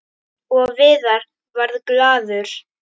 Og Viðar varð glaður.